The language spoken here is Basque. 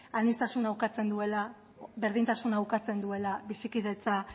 aniztasuna ukatzen duela berdintasuna ukatzen duela bizikidetza